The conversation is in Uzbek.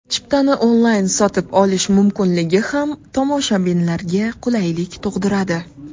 Chiptani onlayn sotib olish mumkinligi ham tomoshabinlarga qulaylik tug‘diradi.